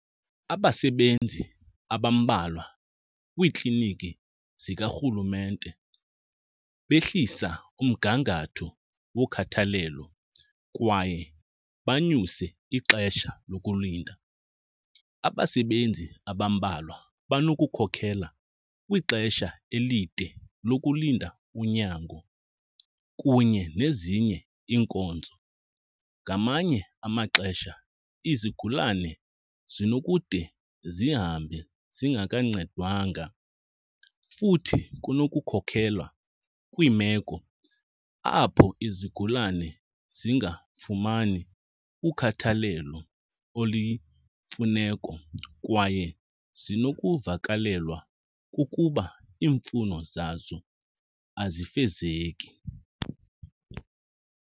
Abasebenzi abambalwa kwiikliniki zikarhulumente behlisa umgangatho wokhathalelo kwaye banyuse ixesha lokulinda. Abasebenzi abambalwa banokukhokhela kwixesha elide lokulinda unyango kunye nezinye iinkonzo, ngamanye amaxesha izigulane zinokude zihambe zingakancedwanga. Futhi kunokukhokela kwiimeko apho izigulane zingafumani ukhathalelo oluyimfuneko kwaye zinokuvakalelwa kukuba iimfuno zazo azifezeki.